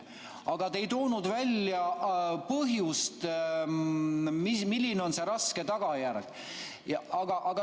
Aga te ei toonud välja, milline on see raske tagajärg.